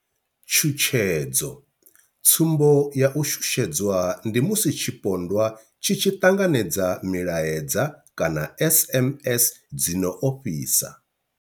Tshutshedzo, Tsumbo ya u shushedzwa ndi musi tshipondwa tshi tshi ṱanganedza milaedza kana SMS dzi no ofhisa.